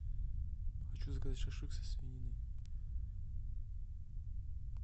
хочу заказать шашлык со свининой